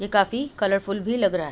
ये काफी कलरफुल भी लग रहा --